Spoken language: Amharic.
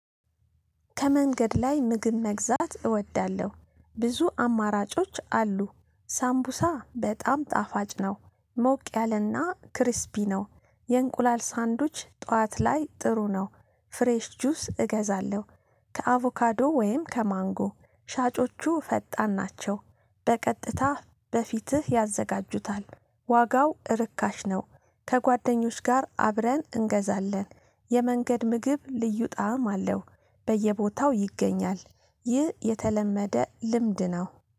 ከመንገድ ላይ ምግብ መግዛት እወዳለሁ ብዙ አማራጮች አሉ። ሳምቡሳ በጣም ጣፋጭ ነው። ሞቅ ያለና ክሪስፒ ነው። የእንቁላል ሳንዱጅ ጠዋት ላይ ጥሩ ነው። ፍሬሽ ጁስ እገዛለሁ። ከአቮካዶ ወይም ከማንጎ ሻጮቹ ፈጣን ናቸው። በቀጥታ በፊትህ ያዘጋጁታል። ዋጋው ርካሽ ነው። ከጓደኞች ጋር አብረን እንገዛለን። የመንገድ ምግብ ልዩ ጣዕም አለው። በየቦታው ይገኛል። ይህ የተለመደ ልምድ ነው።